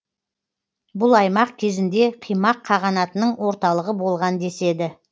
бұл аймақ кезінде қимақ қағанатының орталығы болған деседі